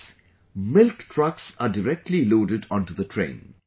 In this, milk trucks are directly loaded onto the train